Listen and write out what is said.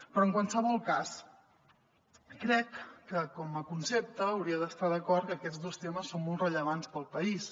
però en qualsevol cas crec que com a concepte hauria d’estar d’acord que aquests dos temes són molt rellevants per al país